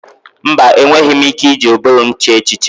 Mba! Enweghị m ike iji ụbụrụ m chee echiche.